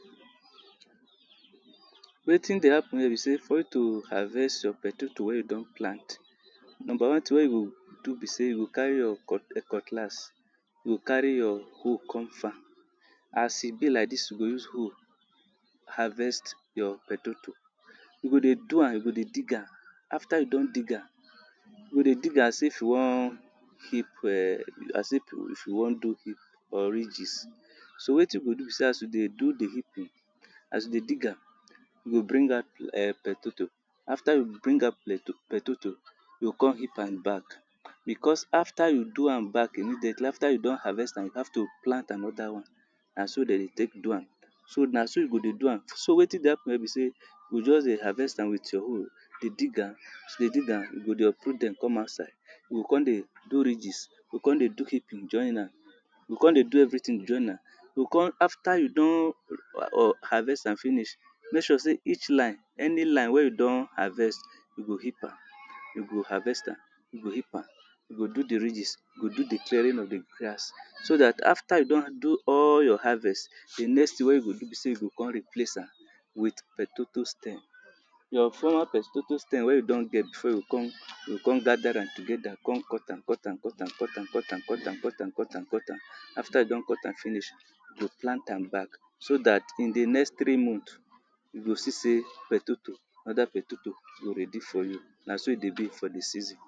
Wetin dey happen here be say for you to harvest your pohtato wey you don plant, number one tin wey you go do be say you go carry your cutlass, you go carry your hoe come farm. As e be like dis, you go use hoe harvest your pohtato. You go dey do am, you go dey dig am. After you don dig am, you go dey dig am as if you wan heap um as if you wan do heap or ridges. So wetin you go do be say as you dey do di heaping, as you dey dig am, you go bring out um pohtato. After you bring out pohtato, you go kon heap am back because after you do am back immediately, after you don harvest am, you have to plant another one. Na so dey dey take do am. So, na so you go dey do am. So wetin dey happen here be say, you go just dey harvest am with your hoe, dey dig am. As you dey dig am, you go dey uproot dem kon outside. You go kon dey do ridges, you go kon dey do heaping join am, you go kon dey do everytin join am. You go kon after you don um harvest am finish, make sure say each line, any line wey you don harvest, you go heap am, you go harvest am, you go heap am, you go do di ridges, you go do di clearing of di grass so dat after you don do all your harvest, di next tin wey you go do be say you go kon replace am with potato stem. Your former pohtato stem wey you don get before you kon you kon gather am together kon cut am, cut am, cut am, cut am, cut am, cut am, cut am, cut am, cut am. After you don cut am finish, you plant am back so dat in di next three mohth, you go see say pohtato, other pohtato go ready for you. Na so e dey be for di season.